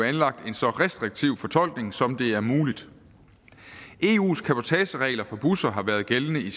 anlagt en så restriktiv fortolkning som det er muligt eus cabotageregler for busser har været gældende i